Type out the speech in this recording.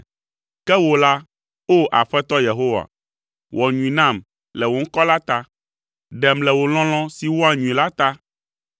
Ke wò la, o Aƒetɔ Yehowa, wɔ nyui nam le wò ŋkɔ la ta, ɖem le wò lɔlɔ̃ si wɔa nyui la ta,